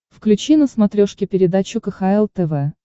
включи на смотрешке передачу кхл тв